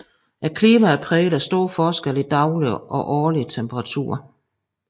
Klimaet er præget af store forskelle i daglig og årlig temperatur